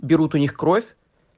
берут у них кровь